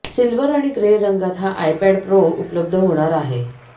silver आणि grey रंगात हा आयपॅड प्रो उपलब्ध होणार आहे